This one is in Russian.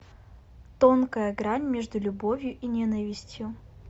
тонкая грань между любовью и ненавистью